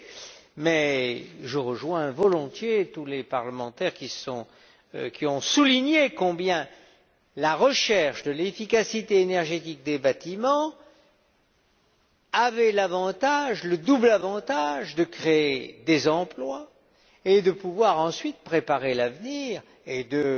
D'autre part, je rejoins volontiers tous les parlementaires qui ont souligné combien la recherche de l'efficacité énergétique des bâtiments avait le double avantage de créer des emplois et de pouvoir ensuite préparer l'avenir et de